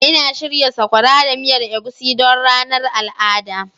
Ina shirya sakora da miyar egusi don ranar al'ada.